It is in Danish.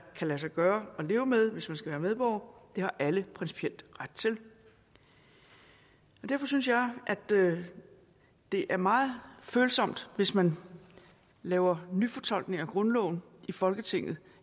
kan lade sig gøre at leve med hvis man skal være medborger det har alle principielt ret til derfor synes jeg at det det er meget følsomt hvis man laver nyfortolkning af grundloven i folketinget